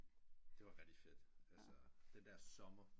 Det var rigtigt fedt altså den der sommer